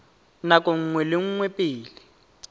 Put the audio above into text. nako nngwe le nngwe pele